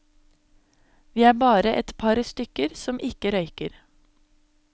Vi er bare et par stykker som ikke røyker.